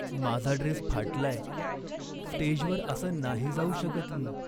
माझा ड्रेस फाटलाय. स्टेजवर असा नाही जाऊ शकत मी.